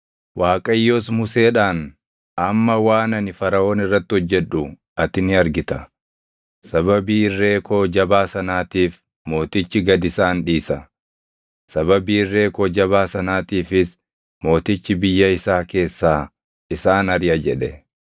Waaqayyos Museedhaan, “Amma waan ani Faraʼoon irratti hojjedhu ati ni argita: sababii irree koo jabaa sanaatiif mootichi gad isaan dhiisa; sababii irree koo jabaa sanaatiifis mootichi biyya isaa keessaa isaan ariʼa” jedhe.